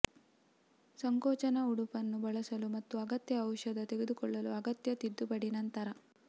ಸಂಕೋಚನ ಉಡುಪನ್ನು ಬಳಸಲು ಮತ್ತು ಅಗತ್ಯ ಔಷಧ ತೆಗೆದುಕೊಳ್ಳಲು ಅಗತ್ಯ ತಿದ್ದುಪಡಿ ನಂತರ